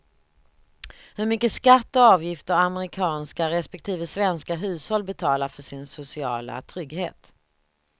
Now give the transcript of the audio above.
Hur mycket skatt och avgifter amerikanska respektive svenska hushåll betalar för sin sociala trygghet.